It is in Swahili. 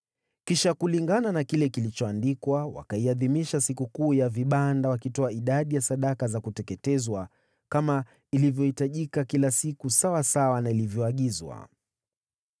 Kisha kulingana na kile kilichoandikwa, wakaiadhimisha Sikukuu ya Vibanda wakitoa idadi ya sadaka za kuteketezwa kama ilivyohitajika kila siku sawasawa na ilivyoagizwa.